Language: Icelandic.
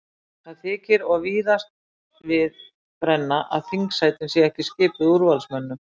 Það þykir og víðast við brenna að þingsætin séu ekki skipuð úrvalsmönnum.